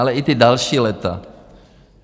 Ale i ta další léta.